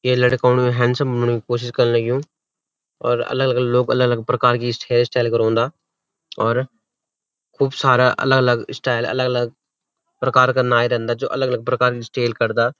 ये लड़का उण हैण्डसम बण्यु कोशिश कर्ण लग्युं और अलग-अलग लोग अलग-अलग प्रकार की हेयरस्टाइल करोंदा और खूब सारा अलग-अलग स्टाइल अलग-अलग प्रकार का नाई रैंदा जू अलग अलग प्रकारन स्टेल करदा।